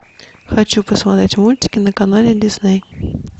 хочу посмотреть мультики на канале дисней